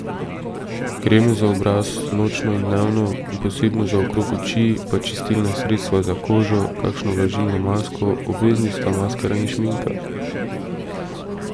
Kreme za obraz, nočno in dnevno, in posebno za okrog oči, pa čistilna sredstva za kožo, kakšno vlažilno masko, obvezni sta maskara in šminka.